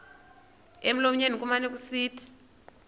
emlonyeni kumane kusithi